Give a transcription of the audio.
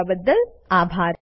જોડાવાબદ્દલ આભાર